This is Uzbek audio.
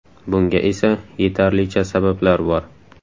Bunga esa yetarlicha sabablar bor.